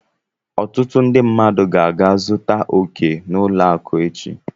Ọtụtụ ndị mmadụ ga-aga zụta oke n'ụlọ akụ echi.